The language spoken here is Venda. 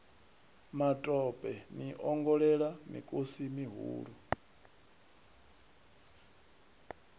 matope ni ongolela mikosi mihulu